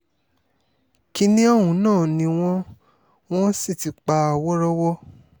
kìnnìún náà ni wọ́n wọ́n sì ti pa wọ́ọ́rọ́wọ́